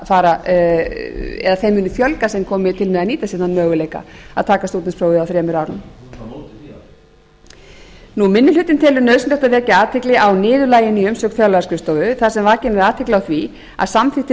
fara eða þeim muni fjölga sem komi til með að nýta sé þann möguleika að taka stúdentsprófið á þremur árum minni hlutinn telur nauðsynlegt að vekja athygli á niðurlaginu í umsögn fjárlagaskrifstofu þar sem vakin er athygli á því að samþykktir